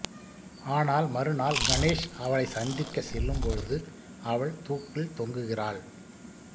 ஆனால் மறுநாள் கணேஷ் அவளைச் சந்திக்க செல்லும் பொழுது அவள் தூக்கில் தொங்குகிறாள்